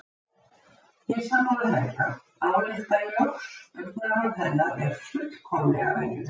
Ég er sammála Helga, álykta ég loks, augnaráð hennar er fullkomlega venjulegt.